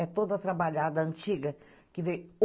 É toda trabalhada, antiga.